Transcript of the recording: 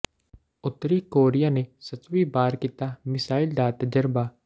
ਉੱਤਰੀ ਕੋਰੀਆ ਨੇ ਸੱਤਵੀਂ ਵਾਰ ਕੀਤਾ ਮਿਜ਼ਾਈਲ ਦਾ ਤਜਰਬਾ